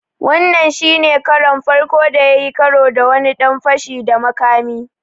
Wannan shi ne karon farko da ya yi karo da wani ɗan fashi da makami.